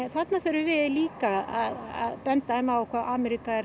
þarna þurfum við líka að benda á hvað Ameríka